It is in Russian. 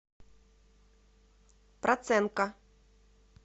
проценко